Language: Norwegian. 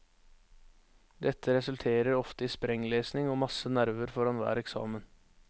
Dette resulterer ofte i sprenglesning og masse nerver foran hver eksamen.